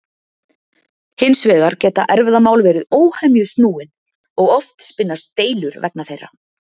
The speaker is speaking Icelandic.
Hins vegar geta erfðamál verið óhemju snúin og oft spinnast deilur vegna þeirra.